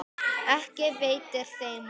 Ekki veitir þeim af.